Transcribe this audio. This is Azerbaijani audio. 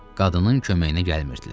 Qadının köməyinə gəlmirdilər.